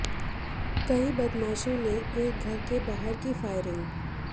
कई बदमाशों ने एक घर के बाहर की फायरिंग